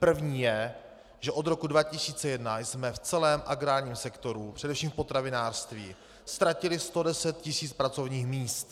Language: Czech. První je, že od roku 2001 jsme v celém agrárním sektoru, především v potravinářství, ztratili 110 tisíc pracovních míst.